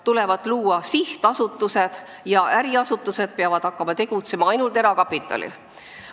Tuleb luua sihtasutused ja äriasutused peavad hakkama tegutsema ainult erakapitalil põhinedes.